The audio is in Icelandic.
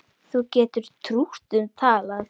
Þú getur trútt um talað